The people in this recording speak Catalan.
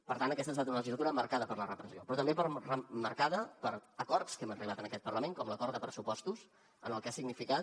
per tant aquesta ha estat una legislatura marcada per la repressió però també marcada per acords a què hem arribat en aquest parlament com l’acord de pressupostos en el que ha significat